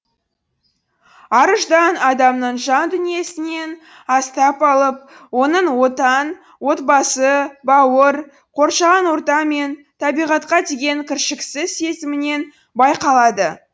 ар ұждан адамның жан дүниесінен астап алып оның отан отбасы бауыр қоршаған орта мен табиғатқа деген кіршіксіз сезімінен байқалады